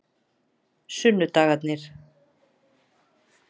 sunnudagarnir